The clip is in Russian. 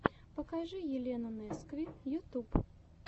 покажи елену нескви ютуб